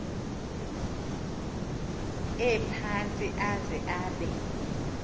ephantsi aze abe